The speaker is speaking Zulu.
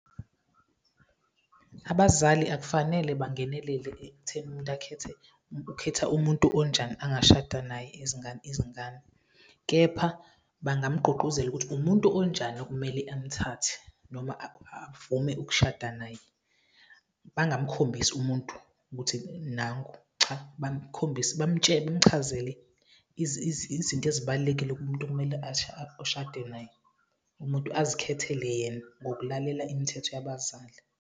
Abazali akufanele bangenelele ekutheni umuntu ukhetha umuntu onjani angashada naye izingane izingane kepha bangamgqugquzela ukuthi umuntu onjani okumele amthathe noma avume ukushada naye, bangamkhombisi umuntu ukuthi nangu, cha, bamtshele, bamchazele izinto ezibalulekile kumuntu okumele ushade naye, umuntu azikhethele yena ngokulalela imithetho yabazali.